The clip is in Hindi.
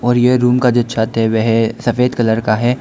और यह रूम का जो छत है वह सफेद कलर का है।